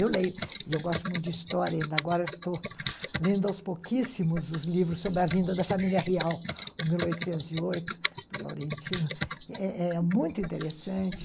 Eu leio, e eu gosto muito de história, ainda agora estou lendo aos pouquíssimos os livros sobre a vinda da família real, o mil oitocentos e oito, do Laurentino, que é muito interessante.